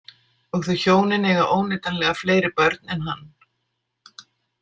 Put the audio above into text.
Og þau hjónin eiga óneitanlega fleiri börn en hann.